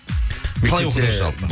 қалай оқыдың жалпы